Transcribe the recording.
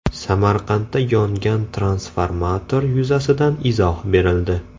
Samarqandda yongan transformator yuzasidan izoh berildi.